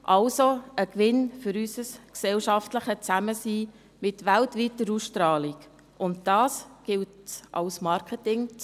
Also: Ein Gewinn für unser gesellschaftliches Zusammensein mit weltweiter Ausstrahlung – und das gilt es als Marketing zu nutzen.